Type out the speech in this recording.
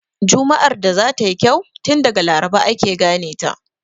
Juma'ar da za ta yi kyau, tun daga Laraba ake gane ta.